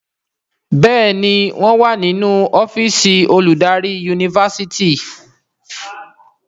Béèni wón wá nínú ọ́fíìsì oludari Yunifásitìni.